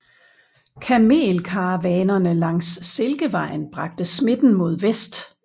Kamelkaravanerne langs Silkevejen bragte smitten mod vest